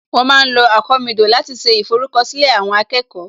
Wọ́n ma ń lo àkomídò láti ṣe ìforúkọ̀sílẹ̀ àwọn akẹ́kọ̀ọ́